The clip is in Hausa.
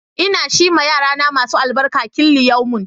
Ina shi ma yarana masu albarka killiyomun.